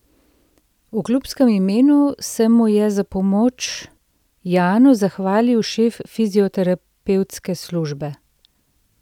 V klubskem imenu se mu je za pomoč Janu zahvalil šef fizioterapevtske službe.